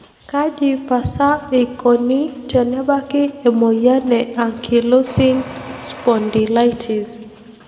Kaji pasa eikoni tenebaki emoyian e ankylosing spondylitis?